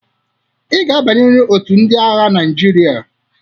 I ga-abnyeriri otu ndị agha Naịjirịa.